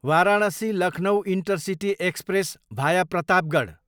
Varanasi, Lucknow intercity express, भाया प्रतापगढ